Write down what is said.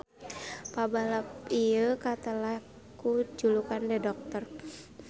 Pabalap ieu katelah ku julukan The Doctor.